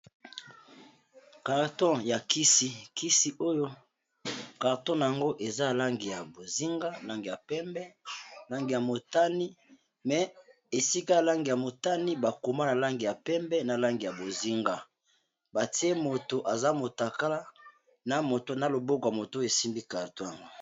Carton ya kisi ,kisi oyo carton nango eza langi ya bozinga ,langi ya pembe ,langi ya motani , mais esika ya langi ya motani bakoma na langi ya pembe na langi ya bozinga .batie moto aza motakala na moto na loboko ya moto oyo esimbi carton yango.